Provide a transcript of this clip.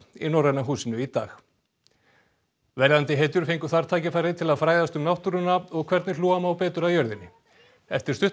í Norræna húsinu í dag verðandi hetjur fengu þar tækifæri til að fræðast um náttúruna og hvernig hlúa má betur að jörðinni eftir stutta